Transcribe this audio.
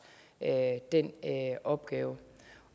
den opgave